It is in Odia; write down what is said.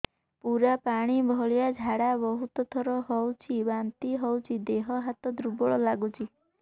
ପୁରା ପାଣି ଭଳିଆ ଝାଡା ବହୁତ ଥର ହଉଛି ବାନ୍ତି ହଉଚି ଦେହ ହାତ ଦୁର୍ବଳ ଲାଗୁଚି